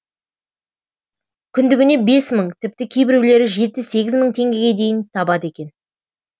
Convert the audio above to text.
күндігіне бес мың тіпті кейбіреулері жеті сегіз мың теңгеге дейін табады екен